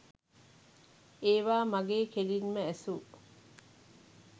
ඒවා මගේ කෙලින්ම ඇසූ